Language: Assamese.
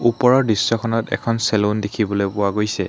ওপৰৰ দৃশ্যখনত এখন চেলুন দেখিবলৈ পোৱা গৈছে।